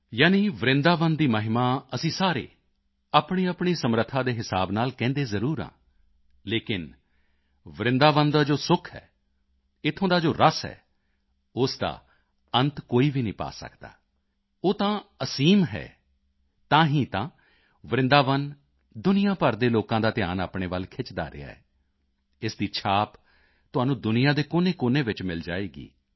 ਯਾਨੀ ਵਰਿੰਦਾਵਨ ਦੀ ਮਹਿਮਾ ਅਸੀਂ ਸਾਰੇ ਆਪਣੀਆਪਣੀ ਸਮਰੱਥਾ ਦੇ ਹਿਸਾਬ ਨਾਲ ਕਹਿਦੇ ਜ਼ਰੂਰ ਹਾਂ ਲੇਕਿਨ ਵਰਿੰਦਾਵਨ ਦਾ ਜੋ ਸੁਖ ਹੈ ਇੱਥੋਂ ਦਾ ਜੋ ਰਸ ਹੈ ਉਸ ਦਾ ਅੰਤ ਕੋਈ ਵੀ ਨਹੀਂ ਪਾ ਸਕਦਾ ਉਹ ਤਾਂ ਅਸੀਮ ਹੈ ਤਾਂ ਹੀ ਤਾਂ ਵਰਿੰਦਾਵਨ ਦੁਨੀਆ ਭਰ ਦੇ ਲੋਕਾਂ ਦਾ ਧਿਆਨ ਆਪਣੇ ਵੱਲ ਖਿੱਚਦਾ ਰਿਹਾ ਹੈ ਇਸ ਦੀ ਛਾਪ ਤੁਹਾਨੂੰ ਦੁਨੀਆ ਦੇ ਕੋਨੇਕੋਨੇ ਵਿੱਚ ਮਿਲ ਜਾਵੇਗੀ